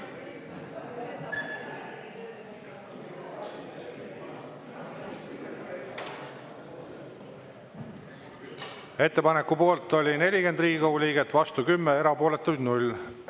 Ettepaneku poolt oli 40 Riigikogu liiget, vastu 10, erapooletuid oli 0.